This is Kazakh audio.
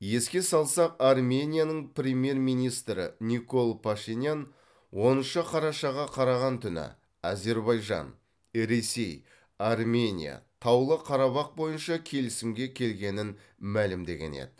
еске салсақ арменияның премьер министрі никол пашинян оныншы қарашаға қараған түні әзербайжан ресей армения таулы қарабақ бойынша келісімге келгенін мәлімдеген еді